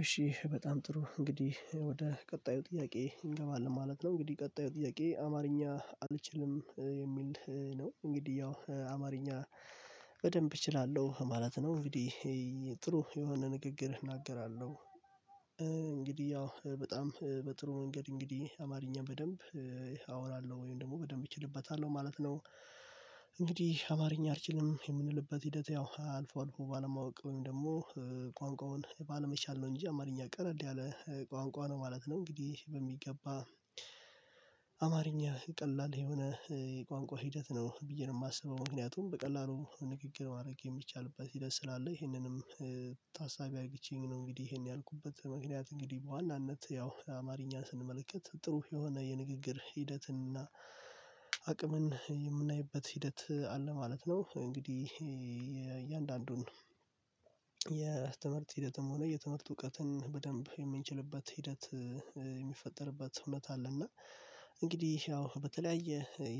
እሺ በጣም ጥሩ እንግዲህ ወደ ቀጣዩ ጥያቄ እንገባለን ማለት ነው። እንግዲህ ቀጣዩ ጥያቄ አማርኛ አልችልም የሚል ነው። እንግዲህ ያው አማርኛ በደንብ እችላለሁ ማለት ነው። እንግዲህ ጥሩ የሆነ ንግግር እናገራለሁ። እንግዲህ ያው በጣም በጥሩ ነገር እንግዲህ አማርኛ በደንብ አወራለሁ ወይም ደግሞ በደንብ እችልበታለሁ ማለት ነው። እንግዲህ አማርኛ አልችልም የምንልበት ሂደት ያው አልፎ አልፎ ባለማወቅ ወይም ደግሞ ቋንቋውን ባለመቻል ነው እንጂ አማርኛ ቀለል ያለ ቋንቋ ነው ማለት ነው። እንግዲህ በሚገባ አማርኛ ቀላል የሆነ የቋንቋ ሂደት ነው ብዬ ነው የማስበው። ምክንያቱም በቀላሉ ንግግር ማድረግ የሚቻልበት ሂደት ስላለ ይሄንንም ታሳቢ አድርጌ ነው እንግዲህ ይሄን ያልኩበት ምክንያት እንግዲህ በዋናነት ያው አማርኛን ስንመለከት ጥሩ የሆነ የንግግር ሂደትና አቅምን የምናይበት ሂደት አለ ማለት ነው። እንግዲህ የእያንዳንዱን የትምህርት ሂደትም ሆነ የትምህርት እውቀትን በደንብ የምንችልበት ሂደት የሚፈጠርበት እውነት አለ። አለና እንግዲህ ያው በተለያየ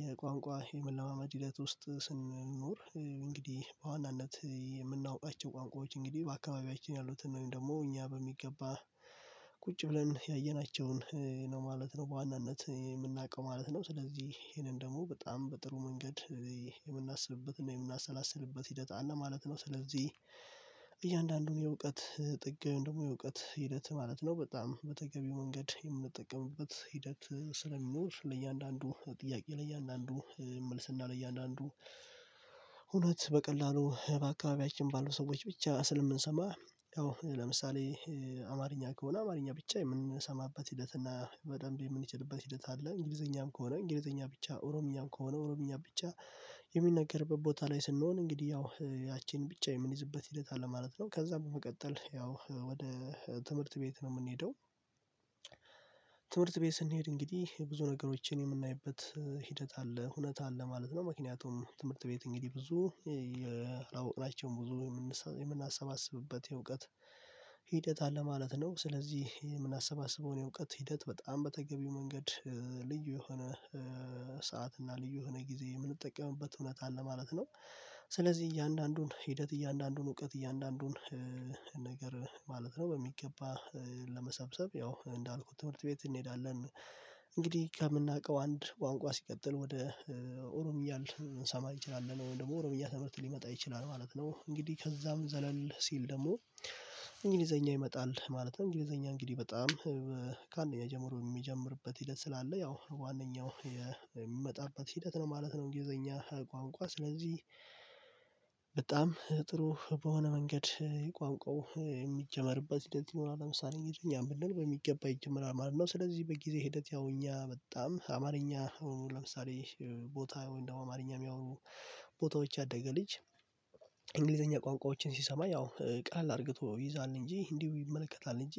የቋንቋ የመለማመድ ህይወት ውስጥ ስንኖር እንግዲህ በዋናነት የምናውቃቸው ቋንቋዎች እንግዲህ በአካባቢያችን ያሉትን ወይም ደግሞ እኛ በሚገባ ብለን ያየናቸውን ነው ማለት ነው። በዋናነት የምናውቀው ማለት ነው ስለዚህ ይሄንን ደግሞ በጣም በጥሩ መንገድ የምናስብበት የምናሰላስልበት ሂደት አለ ማለት ነው። ስለዚህ እያንዳንዱን የእውቀት ጥግን ደግሞ የእውቀት ሂደት ማለት ነው በጣም በተገቢው መንገድ የምንጠቀምበት ሂደት ስለሚኖር ለእያንዳንዱ ጥያቄ ላይ እያንዳንዱ መልስና ላይ እያንዳንዱ እውነት በቀላሉ በአካባቢያችን ባሉ ሰዎች ብቻ ስለምንሰማ ያው ለምሳሌ አማርኛ ከሆነ አማርኛ ብቻ የምንሰማበት ሂደት እና በደንብ የምንችልበት ሂደት አለ። እንግሊዘኛም ከሆነ እንግሊዘኛ ብቻ ኦሮምኛም ከሆነ ኦሮምኛ ብቻ የሚነገርበት ቦታ ላይ ስንሆን እንግዲህ ያው ያቺን ብቻ የምንይዝበት ሂደት አለ ማለት ነው። ከዛ በመቀጠል ያው ወደ ትምህርት ቤት ነው የምንሄደው ትምህርት ቤት ስንሄድ እንግዲህ ብዙ ነገሮችን የምናይበት ሂደት አለ እውነት አለ ማለት ነው። ምክንያቱም ትምህርት ቤት እንግዲህ ብዙ የአውቅናቸውን ብዙ የምናሰባስብበት የእውቀት ሂደት አለ ማለት ነው። ስለዚህ የምናሰባስበውን የእውቀት ሂደት በጣም በተገቢው መንገድ ልዩ የሆነ ሰዓት እና ልዩ የሆነ ጊዜ የምንጠቀምበት እውነት አለ ማለት ነው። ስለዚህ እያንዳንዱን ሂደት እያንዳንዱን እውቀት እያንዳንዱን ነገር ማለት ነው በሚገባ ለመሰብሰብ ያው እንዳልኩት ትምህርት ቤት እንሄዳለን እንግዲህ ከምናውቀው አንድ ቋንቋ ሲቀጥል ወደ ኦሮምኛ ልንሰማ አንችላል ወይም ደግሞ ኦሮምና ትምህርት ሊመጣ ይችላል ማለት ነው። እንግዲህ ከዛም ዘለል ሲል ደግሞ እንግሊዘኛ ይመጣል ማለት ነው እንግሊዘኛ እንግዲህ በጣም ከአንደኛ ጀምሮ የሚጀምርበት ሂደት ስላለ ያው ዋናው የሚመጣበት ሂደት ነው ማለት ነው። እንግሊዘኛ ቋንቋ ስለዚህ በጣም ጥሩ በሆነ መንገድ የቋንቋው የሚጀመርበት ሂደት ይኖራል ለምሳሌ እኛ ብንል በሚገባ ይጀምራል ማለት ነው። ስለዚህ በጊዜ ሂደት ያው እኛ በጣም አማርኛ ለምሳሌ ቦታ እንደው አማርኛ የሚያወሩ ቦታዎች ያደገ ልጅ እንግሊዘኛ ቋንቋዎችን ሲሰማ ያው ቀላል አድርገው ይዛል እንጂ እንዲሁ ይመለከታል እንጂ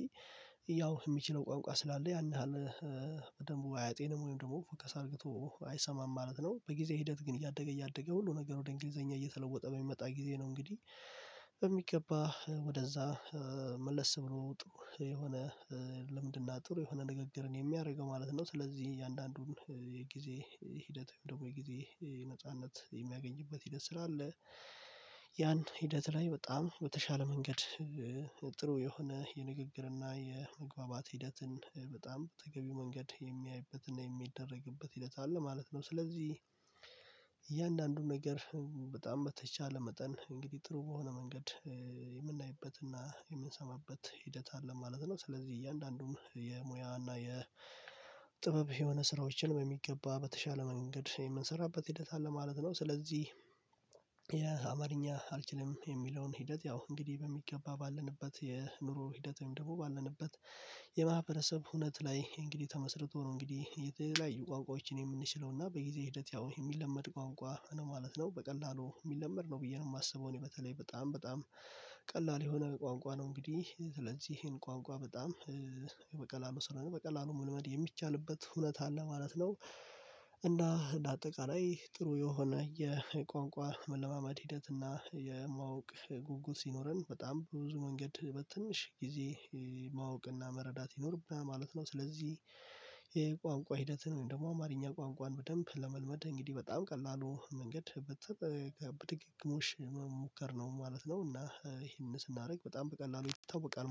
ያው የሚችለው ቋንቋ ስላለ ያን ያህል በደንብ አያጤንም ወይም ደግሞ ፎከስ አድርገው አይሰማም ማለት ነው። በጊዜ ሂደት ግን እያደገ እያደገ ሁሉ ነገር ወደ እንግሊዘኛ እየተለወጠ በሚመጣ ጊዜ ነው እንግዲህ በሚገባ ወደዛ መለስ ብሎ የሆነ ልምድና ጥሩ የሆነ ንግግርን የሚያደርገው ማለት ነው። ስለዚህ እያንዳንዱን የጊዜ ሂደት ደግሞ የጊዜ ነጻነት የሚያገኝበት ሂደት ስላለ ያን ሂደት ላይ በጣም በተሻለ መንገድ ጥሩ የሆነ የንግግርና የመግባባት ሂደትን በጣም በተገቢው መንገድ የሚያይበትና የሚደረግበት ሂደት አለ ማለት ነው። ስለዚህ እያንዳንዱን ነገር በጣም በተቻለ መጠን እንግዲህ ጥሩ በሆነ መንገድ የምናይበትና የምንሰማበት ሂደት አለ ማለት ነው። ስለዚህ እያንዳንዱም የሙያና የጥበብ የሆነ ስራዎችን በሚገባ በተሻለ መንገድ የምንሰራበት ሂደት አለ ማለት ነው። ስለዚህ የአማርኛ አልችልም የሚለውን ሂደት ያው እንግዲህ በሚገባ ባለንበት የኑሮ ሂደትም ደግሞ ባለንበት የማህበረሰብ ሁነት ላይ እንግዲህ ተመስርቶ ነው እንግዲህ የተለያዩ ቋንቋዎችን የምንችለው እና በጊዜ ሂደት ያው የሚለመድ ቋንቋ ማለት ነው። በቀላሉ የሚለመድ ነው ብዬ ነው የማስበው እኔ በተለይ በጣም በጣም ቀላል የሆነ በቋንቋ ነው እንግዲህ ስለዚህ ይሄን ቋንቋ በጣም በቀላሉ ስለሆነ በቀላሉ መልመድ የሚቻልበት ሁነት አለ ማለት ነው። እና በአጠቃላይ ጥሩ የሆነ የቋንቋ መለማመድ ሂደት እና የማወቅ ጉጉት ሲኖረን በጣም ብዙ መንገድ በትንሽ ጊዜ ማወቅና መረዳት ይኖርብና ማለት ነው። ስለዚህ የቋንቋ ሂደትን ደግሞ አማርኛ ቋንቋን በደንብ ለመልመድ እንግዲህ በጣም ቀላሉ መንገድ በድግግሞሽ መሞከር ነው ማለት ነው። እና ይሄንን ስናደርግ በጣም በቀላሉ ይታወቃል